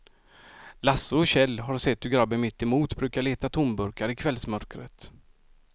Lasse och Kjell har sett hur gubben mittemot brukar leta tomburkar i kvällsmörkret.